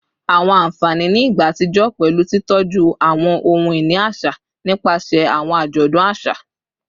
Awọn anfani ni igba atijọ pẹlu titọju awọn ohun-ini aṣa nipasẹ awọn ajọdun aṣa